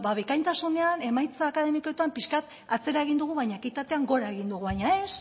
ba bikaintasunean emaitza akademikoetan pixkat atzera egin dugu baina ekitatean gora egin dugu baina